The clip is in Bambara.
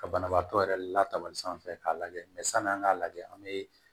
Ka banabaatɔ yɛrɛ latabali sanfɛ k'a lajɛ san'an k'a lajɛ an bɛ